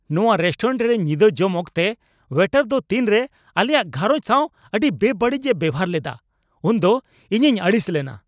ᱱᱟᱶᱟ ᱨᱮᱥᱴᱳᱨᱮᱱᱴ ᱨᱮ ᱧᱤᱫᱟᱹ ᱡᱚᱢ ᱚᱠᱛᱚ ᱳᱭᱮᱴᱟᱨ ᱫᱚ ᱛᱤᱱᱨᱮ ᱟᱞᱮᱭᱟᱜ ᱜᱷᱟᱨᱚᱸᱡᱽ ᱥᱟᱶ ᱟᱹᱰᱤ ᱵᱮᱵᱟᱹᱲᱤᱡᱼᱮ ᱵᱮᱵᱚᱦᱟᱨ ᱞᱮᱫᱟ ᱩᱱᱫᱚ ᱤᱧᱤᱧ ᱟᱹᱲᱤᱥ ᱞᱮᱱᱟ ᱾